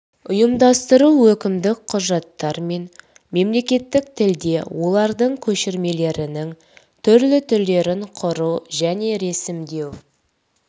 ұйымдастыру өкімдік құжаттар мен мемлекеттік тілде олардың көшірмелерінің түрлі түрлерін құру және ресімдеу